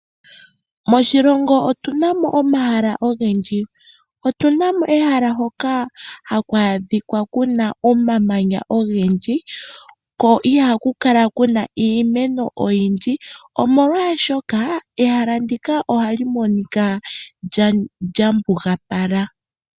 Moshilongo otuna mo omahala ogendji. Otuna mo ehala hoka haku adhika kuna omamanya ogendji ko ihaku kala kuna iimeno oyindji, omolwaashoka ehala ndika ohali monika lyambugapala.